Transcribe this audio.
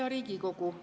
Hea Riigikogu!